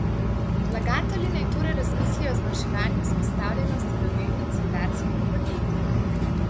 Vlagatelji naj torej razmislijo o zmanjševanju izpostavljenosti do delnic rudarskih podjetij.